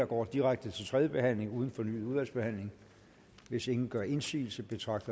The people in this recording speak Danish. går direkte til tredje behandling uden fornyet udvalgsbehandling hvis ingen gør indsigelse betragter